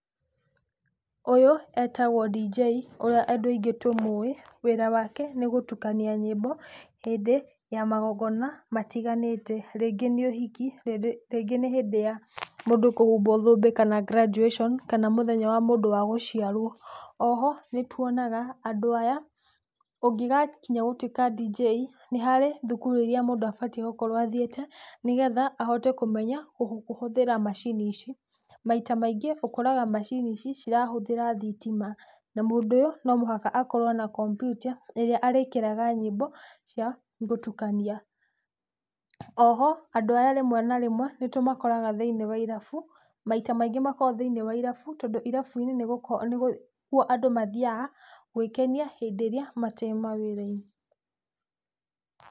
Ũyũ etagwo dj, ũrĩa andũ aingĩ tũmũwĩ na wĩra wake nĩ gũtukania nyĩmbo hĩndĩ ya magongona matiganĩte rĩngĩ nĩ ũhiki, rĩngĩ nĩ hĩndĩ ya mũndũ kũhumbwo thũmbĩ kana graduation, kana mũthenya wa mũndũ wa gũciarwo. Oho nĩtuonaga andũ aya ũngĩgakinya gũtuĩka dj nĩ harĩ thukuru iria mũndũ abatie gũkorwo athiĩte nĩgetha ahote kũmenya kũhũthĩra macini ici. Maita maingĩ ũkoraga macini ici cirahũthĩra thitima na mũndũ ũyũ no mũhaka akorwo na kompiuta, ĩrĩa arĩkĩraga nyĩmbo cia gũtukania. Oho andũ aya rĩmwe na rĩmwe nĩtũmakoraga thĩiniĩ wa irabu, maita maingĩ makoragwo thĩiniĩ wa irabu tondũ irabuinĩ nĩkuo andũ mathiyaga gwĩkenia hĩndi ĩrĩa mate mawĩra-inĩ.